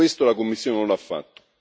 E questo la Commissione non lo ha fatto.